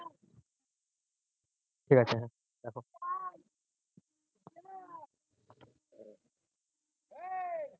ঠিকাছে।